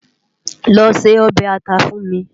Lò sé òbè átà fún mi